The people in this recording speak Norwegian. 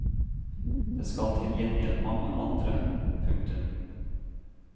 Det skal til gjengjeld mange andre. punktum